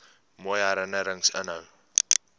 mooi herinnerings inhou